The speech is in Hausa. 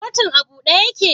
Kotun a bude yake?